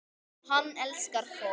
Hann elskar fólk.